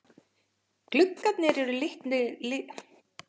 Gluggarnir eru litlir gotneskir gluggar uppi undir lofti rúðurnar steindar.